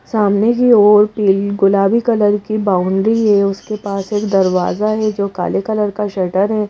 सामने की ओर पील गुलाबी कलर की बाउंड्री है उसके पास एक दरवाजा है जो काले कलर का शटर है।